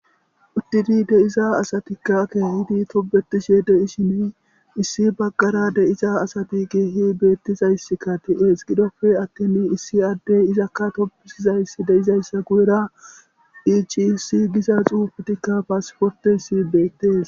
Uddidi deiza asatikka ke hidi tobetishe deishin issi baggara de iza asati keehi beettizayss katiees gidofe attin issi addey izakka topusizayss deizayssa guyera iichiissi giza xuufutikka paasporte yssi beettees.